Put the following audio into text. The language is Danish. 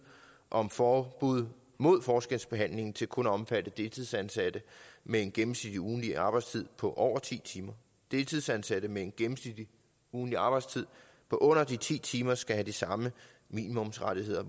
om forbud mod forskelsbehandling til kun at omfatte deltidsansatte med en gennemsnitlig ugentlig arbejdstid på over ti timer deltidsansatte med en gennemsnitlig ugentlig arbejdstid på under de ti timer skal have de samme minimumsrettigheder